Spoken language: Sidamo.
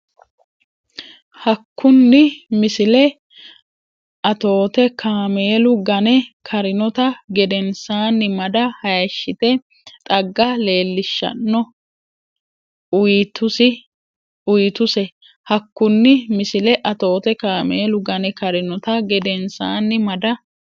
Hakkunni Misile Atoote kaameelu gane karinota gedensaanni mada hayishshite xagga leellishshanno uytuse Hakkunni Misile Atoote kaameelu gane karinota gedensaanni mada.